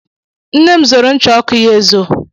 Nne m zoro ncha ọkụ ya ezo.